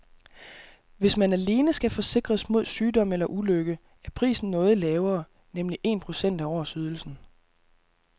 Hvis man alene skal forsikres mod sygdom eller ulykke er prisen noget lavere, nemlig en procent af årsydelsen.